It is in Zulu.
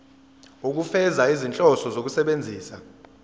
ukufeza izinhloso zokusebenzisa